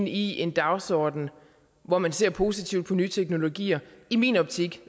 i en dagsordenen hvor man ser positivt på nye teknologier i min optik